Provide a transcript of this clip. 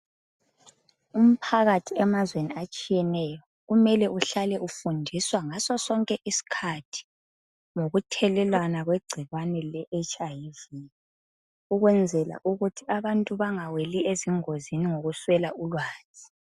Umphakathi emazweni atshiyeneyo kumele uhlale ufindiswa ngaso sonke iskhathi ngokuthelelwana kwe gcikwane le HIV ukwenzela ukuthi abantu bangaweli engozini ngokuswela ulwazi.